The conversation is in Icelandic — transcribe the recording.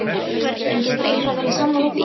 En getur Einar verið sammála því?